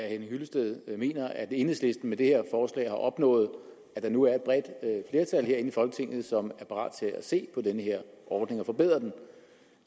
henning hyllested mener at enhedslisten med det her forslag har opnået at der nu er et bredt flertal herinde i folketinget som er parat til at se på den her ordning og forbedre den